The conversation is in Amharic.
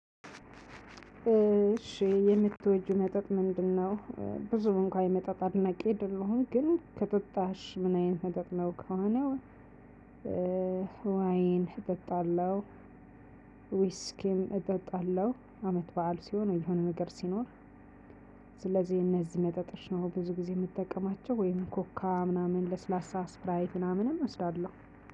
እሺ የምትወጂው መጠጥ ምንድነው? ብዙ እንኳን የመጠጥ አድናቂ የደለሁም ግን ከጠጣሽ ምን አይነት መጠጥ ነው? ከሆነ እ ዋይን እጠጣለሁ። ዊስኪም እጠጣለሁ አመት በዓል ሲሆን የሆነ ነገር ሲኖር። ስለዚህ እነዚህ መጠጦች ነው ብዙ ጊዜ የምትጠቀማቸው ወይም ኮካ ምናምን ለስላሳ ስፕራይት ምናምንም እወስዳለሁ።